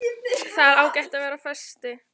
Það er ágætt að vera á föstu.